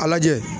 A lajɛ